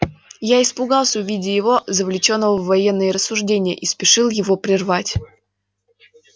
я испугался увидя его завлечённого в военные рассуждения и спешил его прервать